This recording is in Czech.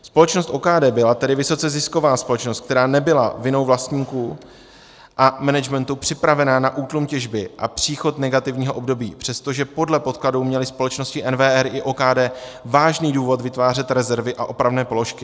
Společnost OKD byla tedy vysoce zisková společnost, která nebyla vinou vlastníků a managementu připravena na útlum těžby a příchod negativního období, přestože podle podkladů měly společnosti NWR i OKD vážný důvod vytvářet rezervy a opravné položky.